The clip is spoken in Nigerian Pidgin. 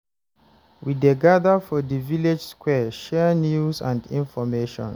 We dey gather for di village square, share news and information.